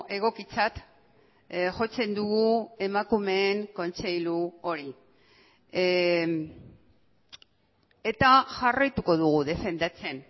egokitzat jotzen dugu emakumeen kontseilu hori eta jarraituko dugu defendatzen